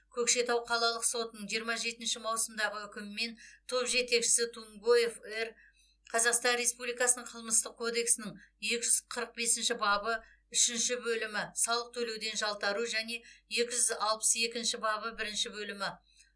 көкшетау қалалық сотының жиырма жетінші маусымдағы үкімімен топ жетекшісі тунгоев р қазақстан республикасының қылмыстық кодексінің екі жүз қырық бесінші бабы үшінші бөлімі салық төлеуден жалтару және екі жүз алпыс екінші бабы бірінші бөлімі